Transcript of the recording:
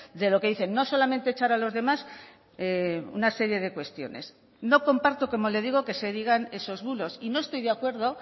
de lo que dicen no solamente echar a los demás una serie de cuestiones no comparto como le digo que se digan esos bulos y no estoy de acuerdo